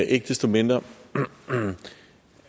ikke desto mindre